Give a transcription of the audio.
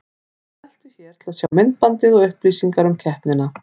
Smelltu hér til að sjá myndbandið og upplýsingar um keppnina